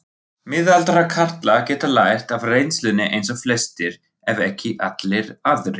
Miðaldra karlar geta lært af reynslunni eins og flestir ef ekki allir aðrir.